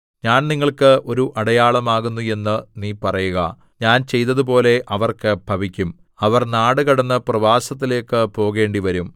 ഞാൻ നിങ്ങൾക്ക് ഒരു അടയാളമാകുന്നു എന്ന് നീ പറയുക ഞാൻ ചെയ്തതുപോലെ അവർക്ക് ഭവിക്കും അവർ നാടുകടന്ന് പ്രവാസത്തിലേക്ക് പോകേണ്ടിവരും